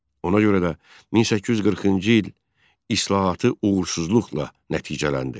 Ona görə də 1840-cı il islahatı uğursuzluqla nəticələndi.